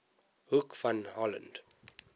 hoek van holland